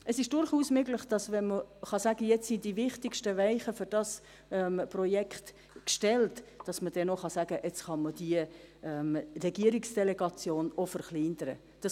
Es ist durchaus möglich, dass man – wenn man sagen kann, jetzt sind die wichtigsten Weichen für dieses Projekt gestellt – dann auch sagen kann, dass man die Regierungsdelegation verkleinern kann.